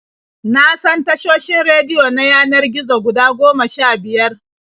Na san tashoshin rediyo na yanar gizo guda goma sha-biyar.